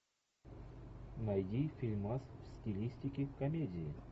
найди фильмас в стилистике комедии